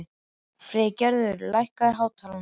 Friðgerður, lækkaðu í hátalaranum.